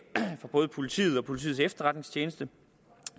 for både politiet og politiets efterretningstjeneste